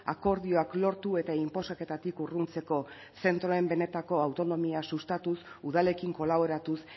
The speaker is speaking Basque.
akordioak lortu eta inposaketatik urruntzeko zentroen benetako autonomia sustatuz udalekin kolaboratuz